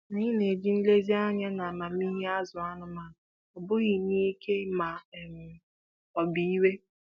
Anyị na-eji nlezianya na amamihe azụ anụmanụ, ọ bụghị n'ike ma um ọ bụ iwe.